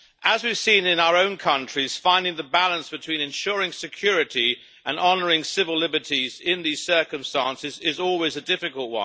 As we have seen in our own countries, finding the balance between ensuring security and honouring civil liberties in these circumstances is always difficult.